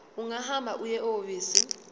ungahamba uye ehhovisi